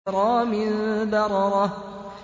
كِرَامٍ بَرَرَةٍ